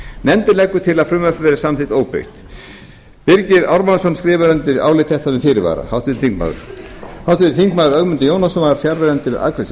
nefndin leggur til að frumvarpið verði samþykkt óbreytt birgir ármannsson skrifar undir álit þetta með fyrirvara ögmundur jónasson var fjarverandi við afgreiðslu